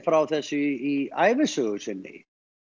frá þessu í ævisögu sinni